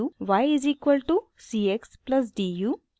y is equal to c x plus d u